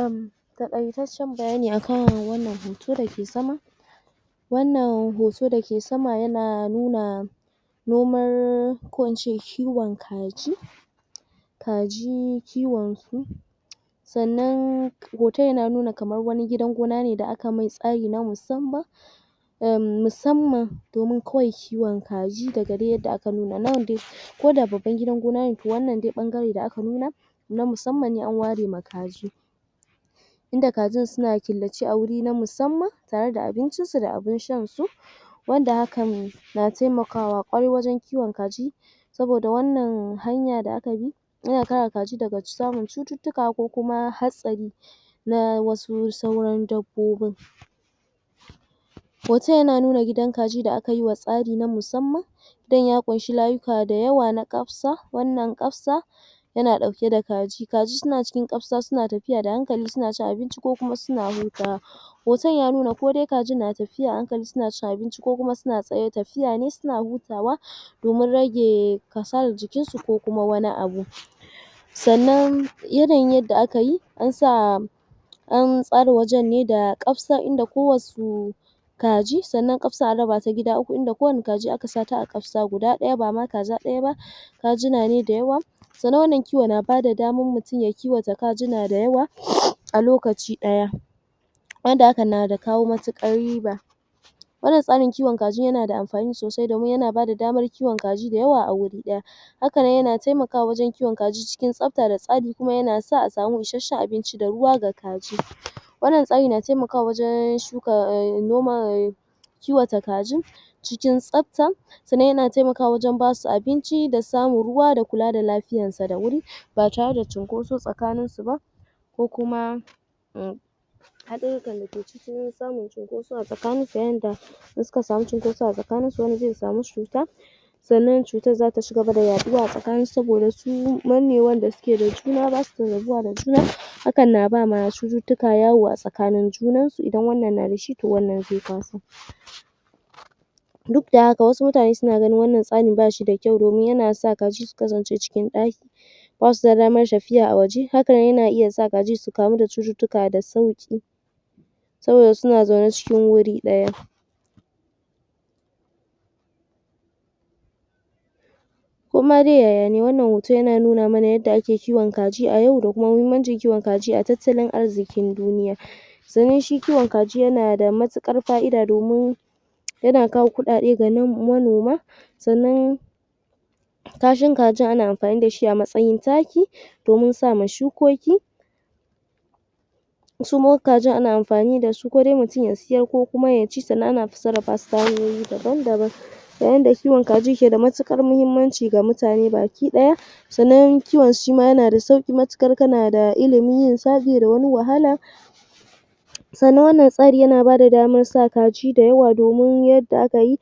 um Taƙaotaccen bayani a kan wannan hoto da ke sama. Wannan hoto da ke sama yana nuna noman ko na ce kiwon kaji. Kaji kiwonsu sannan hoton yana nuna kamar wani gidan gona ne da aka masa tsari na musamman. um musamman domin kawai kiwon kaji daga dai yadda aka nuna. Nan dai ko da babban gidan gona ne to wannan dai ɓangare da aka nuna na musamman ne an ware ma kaji. in da kajin suna killace a wuri na musamman tare da abincisu da abin shansu. wanda hakan na taimakawa ƙwarai wajen kiwon kaji. saboda wannan hanya da aka bi yana kare kaji daga samun cututtuka ko kuma hatsari na wasu sauran dabbobin. Hoton yana nuna gidan kaji da aka yi wa tsari na musamman don ya ƙunshi layuka da yawa na ƙafsa, wannan ƙafsa yana ɗauke da kaji. Kaji suna cikin ƙafsa suna tafiya da hankali suna cin abinci ko kuma suna hutawa. Hoton ya nuna ko dai kajin na tafiya a hankali suna cin abinci ko kuma suna tafiya ne suna hutawa. domin rage kasalar jikinsu ko kuma wani abu. Sannan yanayin yadda aka yi an sa an tsara ne da ƙafsa inda kowasu kaji, sannan ƙafsar an raba ta gida uku inda kowane kaji aka sa ta a ƙafsa guda ɗaya, ba ma kaza guda ɗaya ba. kajuna ne da yawa. Sannan wannan kiwon yana ba da damar mutum ya yi kiwo da kajuna da aywa a lokaci ɗaya wanda hakan na da kawo matuƙar riba Wannan tsarin kiwon kajin yana da amfani sosai domin yana ba da damar kiwon kaji da yawa a wuri ɗaya. Haka nan yana taimakawa wajen kiwon kaji cikin tsafta da tsari kuma yana da a samu isasshen abinci da ruwa ga kaji. Wannan tsari na taimakawa wajen shuka um noma um kiwata kajin cikin tsafta sannan yana taimakawa wajen ba su abinci da samun ruwa da kula da lafiyarsa da wuri ba tare da cunkoso tsakaninsu ba ko kuma um haɗururrukan da ke ciki samun cunkoso a tsakaninsu yadda in suka samu cunkoso a tsakaninsu wani zai samu cuta sannan cutar za ta ci gaba da yaɗuwa a tsakaninsu saboda mannewar da suke yi da juna ba su rabuwa da juna hakan na ba ma cututtuka yawo a tsakanin junansu--idan wannan na da shi to wannan zai harbu. Duk da haka wasu mutane suna ganin wannan tsarin ba shi da kyau domin yana sa kaji su kasance cikin ɗaki hakan na iya sa kaji su kamu da cututtuka da sauƙi. sai su zo suna zaune cikin wuri ɗaya. Ko ma dai yaya ne, wannan hoyon yana nuna mana yadda ake kiwon kaji a yau da kuma muhimmancin kiwon kaji a tattalin arzikin duniya. Sannan shi kiwon kaji yana da matuƙar fa'ida domin yana kawo kuɗaɗe ga manoma sannan kashin kajin ana amfani da shi a matsayin taki. domin sa ma shukoki. Su kuma kajin ana amfani da su ko dai mutum ya sayar ko ya ci sannan ana sarrafa su ta hanyoyi daban-daban. Yayin da kiwon kaji ke da matuƙar muhimmanci ga mutane baki ɗaya sannan kiwon shi ma yana da sauƙi matuƙar kana ilimin yinsa--bai da wani wahala. Sannan wannan tsari yana ba da damar sa kaji da yawa domin yadda aka yi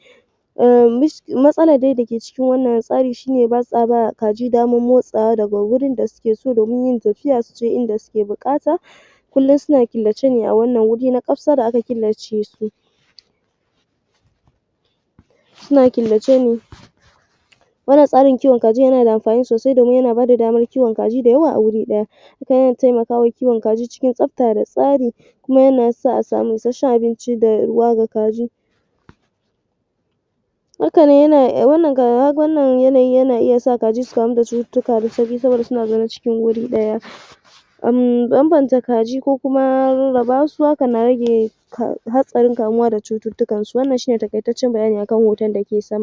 um matsalar da ke cikin wannan tsarin shi ne, ba sa ba wa kaji damar motsawa daga wurin da suke so domin yin tafiya su je inda suke buƙata. Kullum suna killace ne a wannan waje na ƙafsa da aka killace su. suna killace ne Wannan tsarin kiwon kajin yana da amfani sosai domin yana ba da damar kiwon kaji a wuri ɗaya takan taimaka wa kiwon kaji cikin tsafta da tsari. kuma yana sa a samu isasshen abinci da ruwa ga kaji. Hakan nan, wannan yanayi yana iya sa kaji su kamu da cututrtuka da sauƙi saboda suna zaune cikin wuri ɗaya. um Bambanta kaji ko kuma rarraba su, hakan na rage hatsarin kamuwa da cututtukansu. Wannan shi ne taƙaitaccen bayani a kan hoton da ke sama.